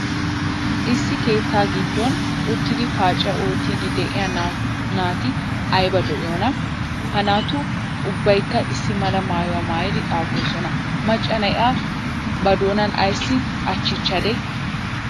Issi keettaa giddon uttidi paaciyaa oottiidi de'iya naatu ayba lo'iyonaa! Ha naatu ubbaykka issi mala maayuwa maayidi xaafoosona. Macca na'iya ba doonaa ayssi achchadee?